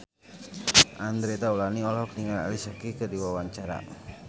Andre Taulany olohok ningali Alicia Keys keur diwawancara